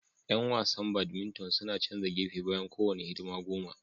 Yan wasan badminton suna canza gefe bayan kowane hidima goma